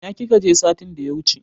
Ina kika je satin da ya wuche?